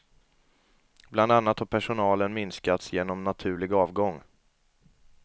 Bland annat har personalen minskats genom naturlig avgång.